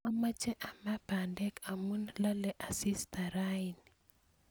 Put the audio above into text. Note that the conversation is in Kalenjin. amoche amaa bandek amu laale asista raini